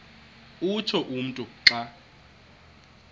utsho umntu xa